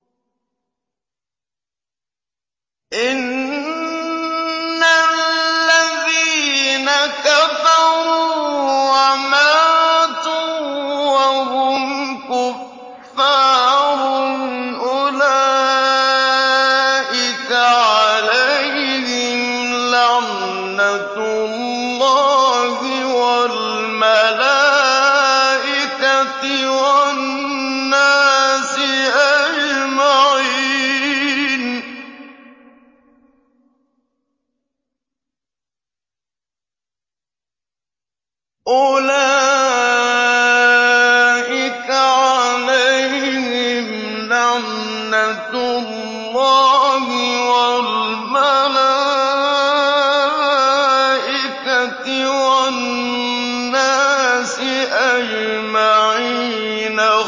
إِنَّ الَّذِينَ كَفَرُوا وَمَاتُوا وَهُمْ كُفَّارٌ أُولَٰئِكَ عَلَيْهِمْ لَعْنَةُ اللَّهِ وَالْمَلَائِكَةِ وَالنَّاسِ أَجْمَعِينَ